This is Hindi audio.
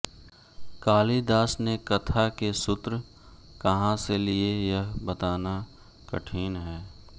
कालिदास ने कथा के सूत्र कहाँ से लिये यह बताना कठिन है